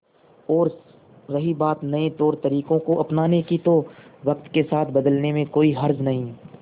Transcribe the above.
और रही बात नए तौरतरीकों को अपनाने की तो वक्त के साथ बदलने में कोई हर्ज नहीं